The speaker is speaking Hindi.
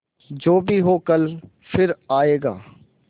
जो भी हो कल फिर आएगा